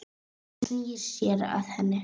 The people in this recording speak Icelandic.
Hann snýr sér að henni.